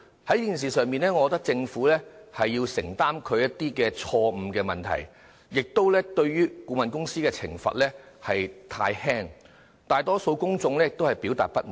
在這件事上，我認為政府必須承擔其錯誤，顧問公司的懲罰也太輕，大多數公眾均表示不滿。